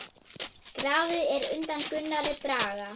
Grafið er undan Gunnari Braga.